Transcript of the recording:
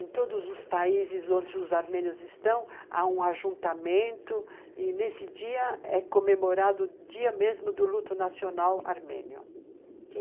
em todos os países onde os armênios estão, há um ajuntamento e nesse dia é comemorado o dia mesmo do luto nacional armênio.